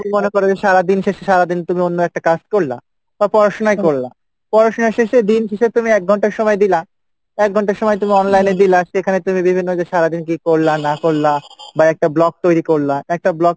তুমি মনে কর যে সারাদিন শেষে সারাদিন তুমি অন্য একটা কাজ করলা বা পড়াশোনাই করলা, পড়াশোনার শেষে দিন শেষে তুমি এক ঘন্টা সময় দিলা, এক ঘন্টা সময় তুমি online এ দিলা সেখানে তুমি বিভিন্ন যে সারাদিন কী করলা না করলা বা একটা vlog তৈরি করলা, একটা vlog